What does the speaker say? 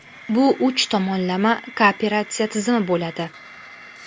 Bu uch tomonlama kooperatsiya tizimi bo‘ladi.